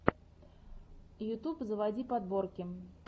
ютьюб заводи подборки